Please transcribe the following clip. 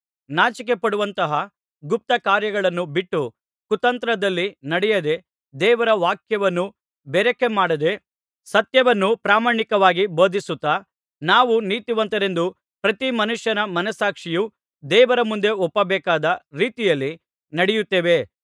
ನಾಚಿಕೆಪಡುವಂತಹ ಗುಪ್ತಕಾರ್ಯಗಳನ್ನು ಬಿಟ್ಟು ಕುತಂತ್ರದಲ್ಲಿ ನಡೆಯದೆ ದೇವರ ವಾಕ್ಯವನ್ನು ಬೆರಕೆ ಮಾಡದೆ ಸತ್ಯವನ್ನು ಪ್ರಾಮಾಣಿಕವಾಗಿ ಬೋಧಿಸುತ್ತಾ ನಾವು ನೀತಿವಂತರೆಂದು ಪ್ರತಿ ಮನುಷ್ಯನ ಮನಸ್ಸಾಕ್ಷಿಯು ದೇವರ ಮುಂದೆ ಒಪ್ಪಬೇಕಾದ ರೀತಿಯಲ್ಲಿ ನಡೆಯುತ್ತೇವೆ